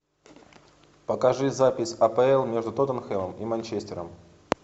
покажи запись апл между тоттенхэмом и манчестером